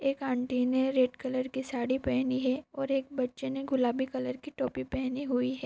एक आंटी ने red colour की साड़ी पहनी है और एक बच्चे ने गुलाबी कलर की टोपी पहनी हुई है।